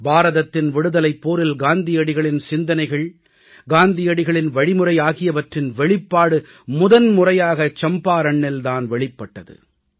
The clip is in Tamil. பாரதத்தின் விடுதலைப் போரில் காந்தியடிகளின் சிந்தனைகள் காந்தியடிகளின் வழிமுறை ஆகியவற்றின் வெளிப்பாடு முதன்முறையாக சம்பாரண்ணில் தான் வெளிப்பட்டது